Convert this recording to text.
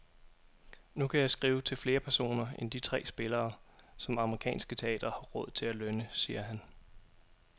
Nu kan jeg skrive til flere personer end de tre spillere, som københavnske teatre har råd til at lønne, siger han.